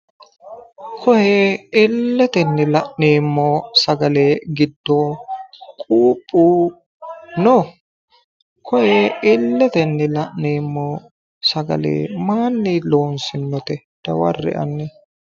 koye illetenni la'neemmo sagale giddo quuphu no? koye illetenni la'neemmo sagale maayiinni loonsoonnite? dawarre'e hanni,